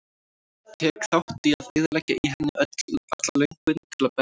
Tek þátt í að eyðileggja í henni alla löngun til að berjast.